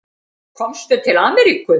Komstu til Ameríku?